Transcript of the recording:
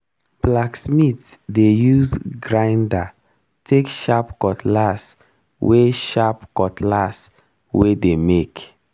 blacksmith dey use grinder take sharp cutlass wey sharp cutlass wey dey make.